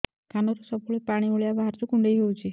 କାନରୁ ସବୁବେଳେ ପାଣି ଭଳିଆ ବାହାରୁଚି କୁଣ୍ଡେଇ ହଉଚି